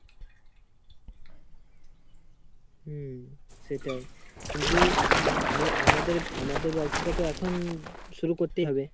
হম সেটাই, কিন্তু উম আমা~আমাদের~আমাদের ব্যবসাটা তো এখন শুরু করতেই হবে।